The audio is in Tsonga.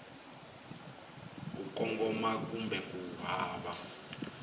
ku kongoma kumbe ku hava